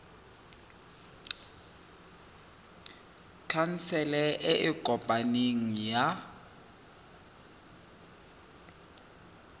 khansele e e kopaneng ya